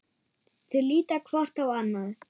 Þau líta hvort á annað.